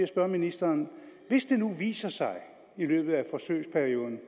spørge ministeren hvis det nu viser sig i løbet af forsøgsperioden